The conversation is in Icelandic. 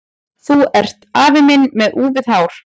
Þú ert afi minn með úfið hár!